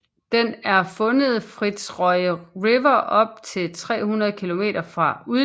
Den er fundet Fitzroy River op til 300 km fra udløbet